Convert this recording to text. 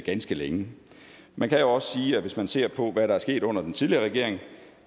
ganske længe man kan jo også sige hvis man ser på hvad der er sket under den tidligere regering